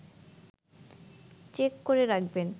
check করে রাখবেন